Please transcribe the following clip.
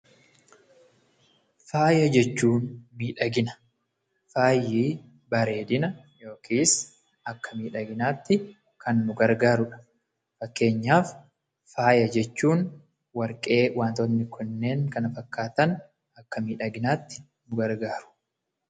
Faaya jechuun miidhagina, faayi bareedina yookiis akka miidhaginaatti kan nu gargaarudha. Fakkeenyaaf faaya jechuun warqee wantootni kunneen kana fakkaatan akka miidhaginaatti nu gargaaru.